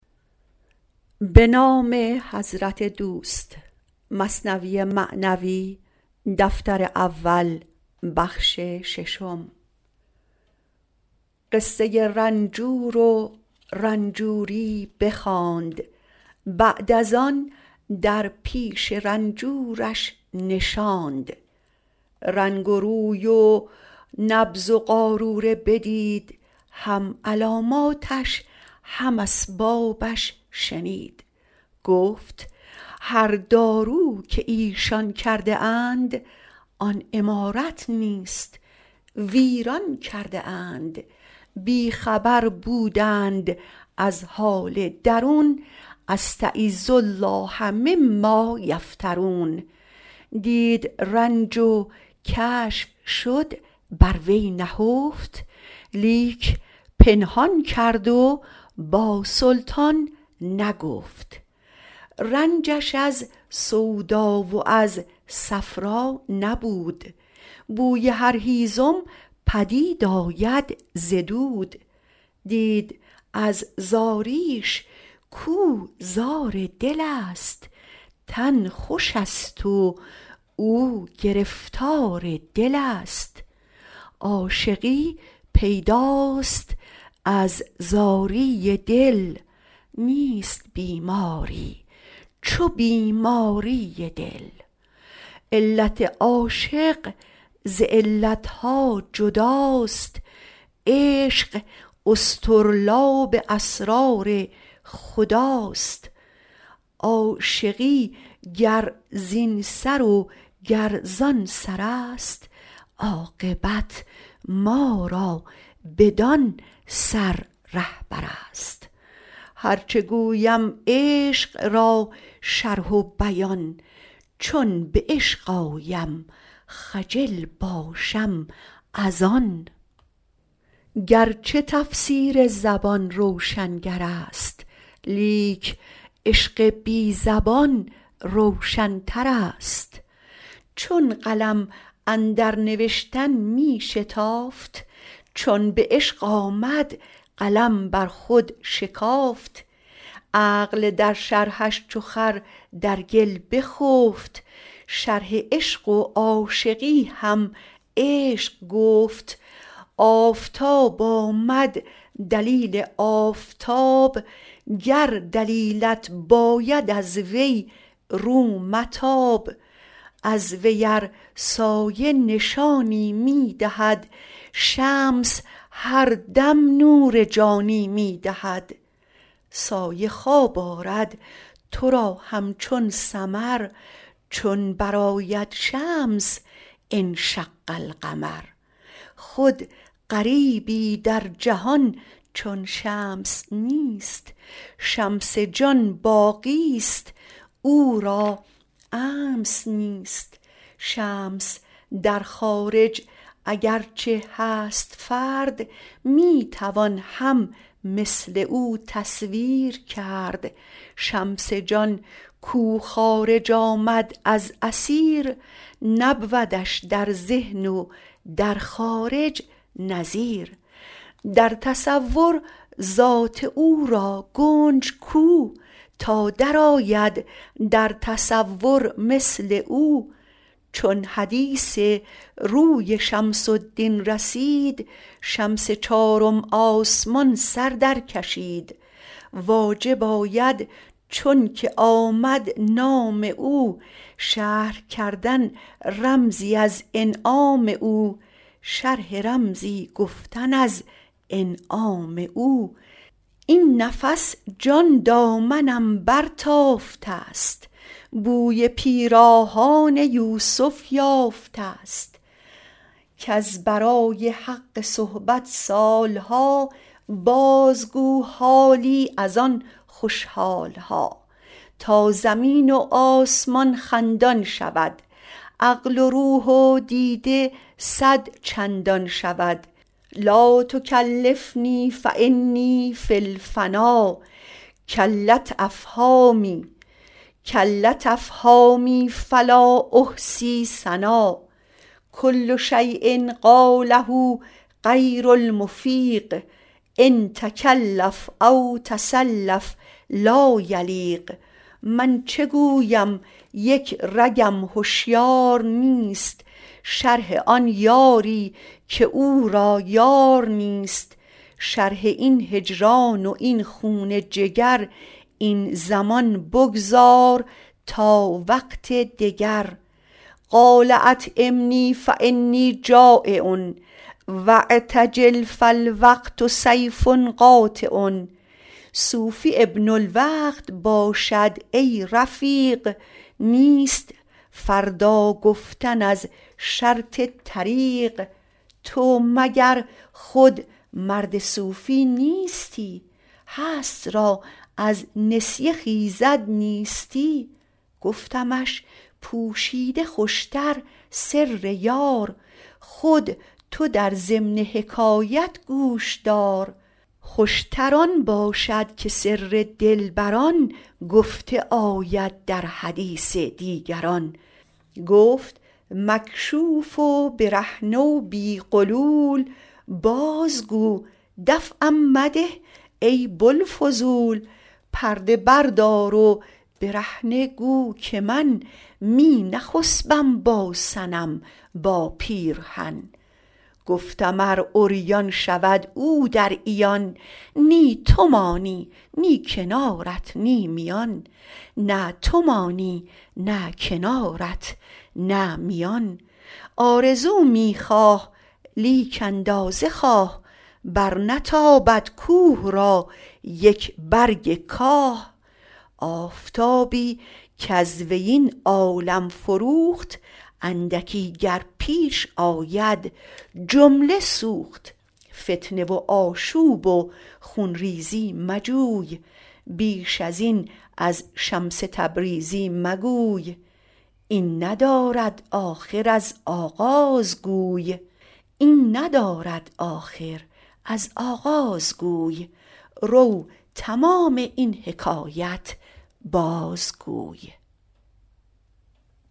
قصه رنجور و رنجوری بخواند بعد از آن در پیش رنجورش نشاند رنگ روی و نبض و قاروره بدید هم علاماتش هم اسبابش شنید گفت هر دارو که ایشان کرده اند آن عمارت نیست ویران کرده اند بی خبر بودند از حال درون استـعـیــذ الـله مـمـــا یفـتـــرون دید رنج و کشف شد بر وی نهفت لیک پنهان کرد و با سلطان نگفت رنجش از صفرا و از سودا نبود بوی هر هیزم پدید آید ز دود دید از زاریش کاو زار دلست تن خوشست و او گرفتار دلست عاشقی پیداست از زاری دل نیست بیماری چو بیماری دل علت عاشق ز علت ها جداست عشق اصطرلاب اسرار خداست عاشقی گر زین سر و گر زان سرست عاقبت ما را بدان سر رهبرست هرچه گویم عشق را شرح و بیان چون به عشق آیم خجل باشم از آن گرچه تفسیر زبان روشنگرست لیک عشق بی زبان روشنترست چون قلم اندر نوشتن می شتافت چون به عشق آمد قلم بر خود شکافت عقل در شرحش چو خر در گل بخفت شرح عشق و عاشقی هم عشق گفت آفتاب آمد دلیل آفتاب گر دلیلت باید از وی رو متاب از وی ار سایه نشانی می دهد شمس هر دم نور جانی می دهد سایه خواب آرد تو را همچون سمر چون برآید شمس انشق القمر خود غریبی در جهان چون شمس نیست شمس جان باقیی کش امس نیست شمس در خارج اگر چه هست فرد می توان هم مثل او تصویر کرد شمس جان کو خارج آمد از اثیر نبودش در ذهن و در خارج نظیر در تصور ذات او را گنج کو تا درآید در تصور مثل او چون حدیث روی شمس الدین رسید شمس چارم آسمان سر در کشید واجب آید چونکه آمد نام او شرح کردن رمزی از انعام او این نفس جان دامنم برتافته ست بوی پیراهان یوسف یافته ست کز برای حق صحبت سال ها بازگو حالی از آن خوش حال ها تا زمین و آسمان خندان شود عقل و روح و دیده صدچندان شود لاتکلفنی فانی فی الفنا کلت افهامی فلا احصی ثنا کل شیء قاله غیر المفیق أن تکلف او تصلف لا یلیق من چه گویم یک رگم هشیار نیست شرح آن یاری که او را یار نیست شرح این هجران و این خون جگر این زمان بگذار تا وقت دگر قال اطعمنی فانی جٰایع واعتجل فالوقت سیف قاطع صوفی ابن الوقت باشد ای رفیق نیست فردا گفتن از شرط طریق تو مگر خود مرد صوفی نیستی هست را از نسیه خیزد نیستی گفتمش پوشیده خوش تر سر یار خود تو در ضمن حکایت گوش دار خوش تر آن باشد که سر دلبران گفته آید در حدیث دیگران گفت مکشوف و برهنه بی غلول بازگو دفعم مده ای بوالفضول پرده بردار و برهنه گو که من می نخسپم با صنم با پیرهن گفتم ار عریان شود او در عیان نه تو مانی نه کنارت نه میان آرزو می خواه لیک اندازه خواه برنتابد کوه را یک برگ کاه آفتابی کز وی این عالم فروخت اندکی گر پیش آید جمله سوخت فتنه و آشوب و خون ریزی مجوی بیش ازین از شمس تبریزی مگوی این ندارد آخر از آغاز گوی رو تمام این حکایت بازگوی